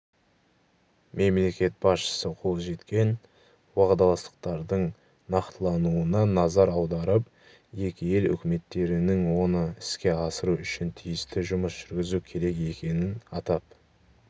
мемлекет басшысы қол жеткен уағдаластықтардың нақтылануына назар аударып екі ел үкіметтерінің оны іске асыру үшін тиісті жұмыс жүргізу керек екенін атап